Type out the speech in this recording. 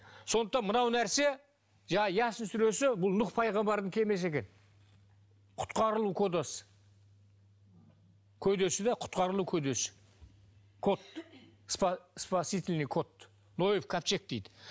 сондықтан мынау нәрсе жаңағы ясин сүресі бұл нух пайғамбардың кемесі екен құтқарылу кодасы көдесі де құтқарылу көдесі код спасительный код ноев ковчег дейді